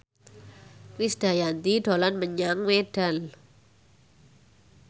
Krisdayanti dolan menyang Medan